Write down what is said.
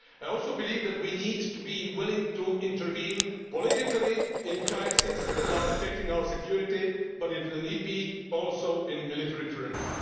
I also believe that we need to be willing to intervene not only politically in crises that are affecting our security but, if need be, also in military terms.